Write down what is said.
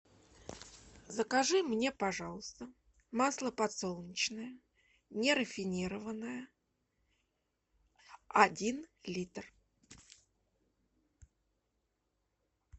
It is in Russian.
закажи мне пожалуйста масло подсолнечное нерафинированное один литр